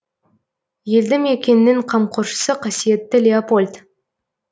елді мекеннің қамқоршысы қасиетті леопольд